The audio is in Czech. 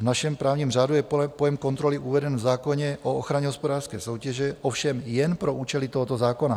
V našem právním řádu je pojem kontroly uveden v zákoně o ochraně hospodářské soutěže, ovšem jen pro účely tohoto zákona.